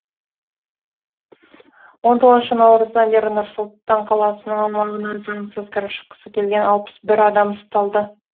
он тоғызыншы наурыздан бері нұр сұлтан қаласының аумағына заңсыз кіріп шыққысы келген алпыс бір адам ұсталды